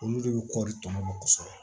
Olu de bɛ kɔri tɔnɔ bɔ kosɛbɛ